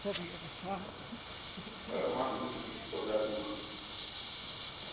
роман юрьевич богодухов